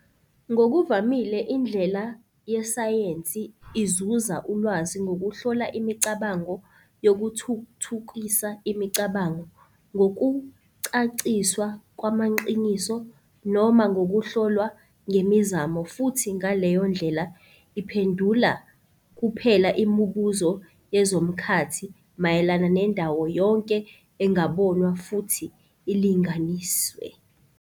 Ngokuvamile indlela yesayensi izuza ulwazi ngokuhlola imicabango yokuthuthukisa imicabango ngokucaciswa kwamaqiniso noma ngokuhlolwa ngemizamo futhi ngaleyo ndlela iphendula kuphela imibuzo yezomkhathi mayelana nendawo yonke engabonwa futhi ilinganiswe.